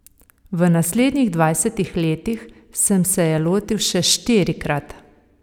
V naslednjih dvajsetih letih sem se je lotil še štirikrat.